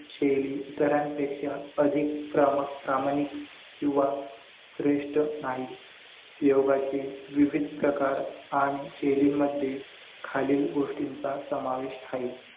शैली इतरांपेक्षा अधिक प्रा प्रामाणिक किंवा श्रेष्ठ आहे. योगाची विविध प्रकार आणि शैलींमध्ये खालील गोष्टींचा समावेश आहे